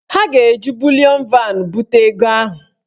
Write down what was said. Ha ga-eji bulịọn van bute ego ahụ.